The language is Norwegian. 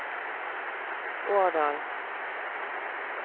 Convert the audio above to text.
Årdal